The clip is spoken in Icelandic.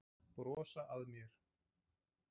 Brosa að mér!